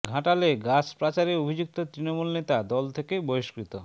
ঘাটালে গাছ পাচারে অভিযুক্ত তৃণমূল নেতা দল থেকে বহিষ্কৃত